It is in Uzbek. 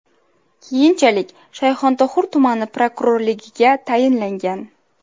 Keyinchalik Shayxontohur tumani prokurorligiga tayinlangan.